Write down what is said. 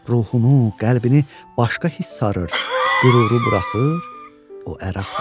Ruhunu, qəlbini başqa hissarır, qüruru buraxır, o ər axtarır.